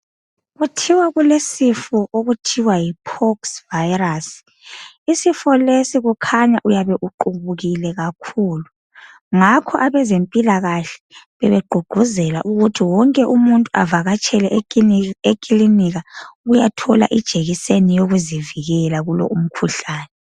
Kuthiwa kulesifo okuthiwa yipork's virus isifo lesi kukhanya uyabe uqhubukile kakhulu ngakho abezempilakahle bebegqugquzela ukuthi wonke umuntu ehambe eclinika ukuyathola ijekiseni yokuzivikela kulo umkhuhlane